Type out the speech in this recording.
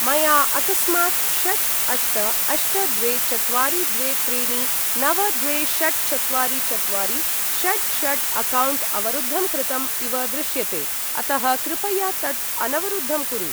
मया अकस्मात् षट् अष्ट अष्ट द्वे चत्वारि द्वे त्रीणि नव द्वे षट् चत्वारि चत्वारि षट् षट् अक्कौण्ट् अवरुद्धं कृतम् इव दृश्यते अतः कृपया तत् अनवरुद्धं कुरु।